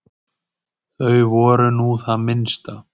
Þau voru nú það minnsta.